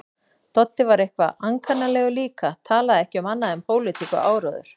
Doddi var eitthvað ankannalegur líka, talaði ekki um annað en pólitík og áróður.